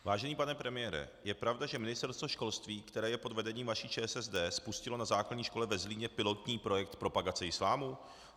Vážený pane premiére, je pravda, že Ministerstvo školství, které je pod vedením vaší ČSSD, spustilo na základní škole ve Zlíně pilotní projekt propagace islámu?